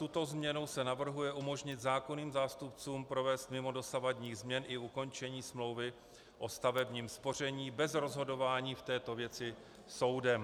Touto změnou se navrhuje umožnit zákonným zástupcům provést mimo dosavadních změn i ukončení smlouvy o stavebním spoření bez rozhodování v této věci soudem.